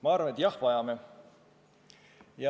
Ma arvan, et jah, vajame.